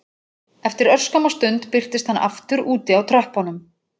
Eftir örskamma stund birtist hann aftur úti á tröppunum